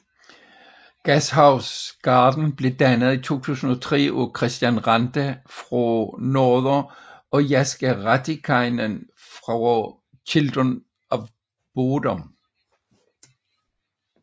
Gashouse Garden blev dannet i 2003 af Kristian Ranta fra Norther og Jaska Raatikainen fra Children of Bodom